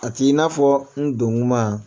A t'i n'a fɔ n don kuma